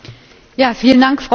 Frau Präsidentin!